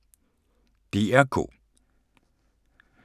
DR K